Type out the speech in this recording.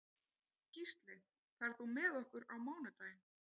Gísli, ferð þú með okkur á mánudaginn?